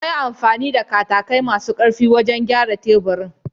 Yayi amfani da katakai masu ƙarfi wajen gyara teburin.